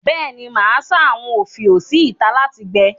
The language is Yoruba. Bẹ́ẹ̀ ni, màá sá àwọn òfiò sí ìtà láti gbẹ.